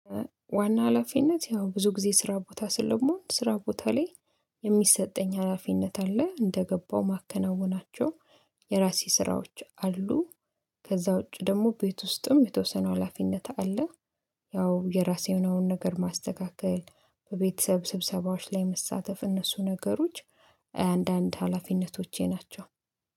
ዋና ሀላፊነት ያው ብዙ ጊዜ ስራ ቦታ ስለመሆን ስራ ቦታ ላይ የሚሰጠኝ ሀላፊነት አለ እንደገባው ማከናውናቸው የራሴ ስራዎች አሉ። ከዛ ውጪ ደግሞ ቤት ውስጥም የተወሰኑ ሀላፊነት አለ። ያው የራሴ የሆነውን ነገር ማስተካከል በቤተሰብ ስብሰባዎች ላይ መሳተፍ እነሱ ነገሮች አንዳንድ ሀላፊነቶቼ ናቸው።